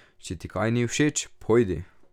Če ti kaj ni všeč, pojdi!